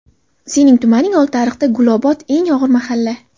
sening tumaning Oltiariqda "Gulobod" – eng og‘ir mahalla.